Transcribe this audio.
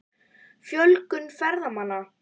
Fjölgun ferðamanna?